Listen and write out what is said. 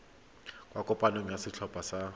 kwa kopanong ya setlhopha sa